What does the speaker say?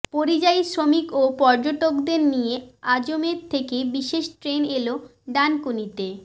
পরিযায়ী শ্রমিক ও পর্যটকদের নিয়ে আজমের থেকে বিশেষ ট্রেন এল ডানকুনিতে